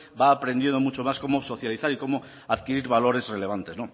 va aprendido mucho más cómo socializar y cómo adquirir valores relevantes